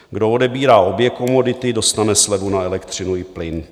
Kdo odebírá obě komodity, dostane slevu na elektřinu i plyn.